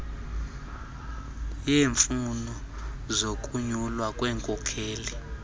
yeemfuno zokunyulwa kwenkokheli